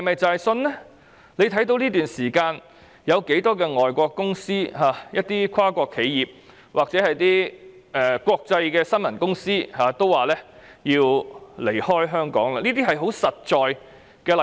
這段時間有多少海外公司、跨國企業或一些國際新聞傳媒都表示會撤出香港，這是一些很實在的例子。